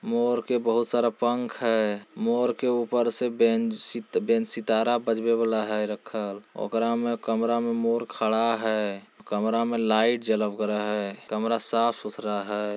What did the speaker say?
मोर के बहोत सारा पंख है। मोर के ऊपर से बेंच सी बेंच सितारा बजबे वाला है रखल ओकरा मे कमरा में मोर खड़ा है। कमरा में लाइट जलल करा है। कमरा साफ़ सुथरा है।